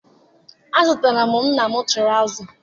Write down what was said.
Azụtara m nna m tụrawụza.